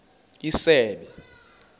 isebe